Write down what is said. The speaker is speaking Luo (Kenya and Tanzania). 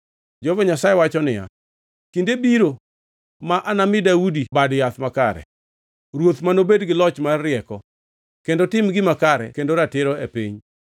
Jehova Nyasaye wacho niya, “Kinde biro ma anami Daudi Bad Yath makare, Ruoth manobed gi loch mar rieko kendo tim gima kare kendo ratiro e piny.